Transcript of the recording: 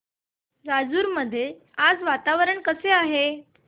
राजूर मध्ये आज वातावरण कसे आहे